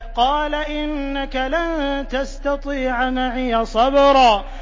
قَالَ إِنَّكَ لَن تَسْتَطِيعَ مَعِيَ صَبْرًا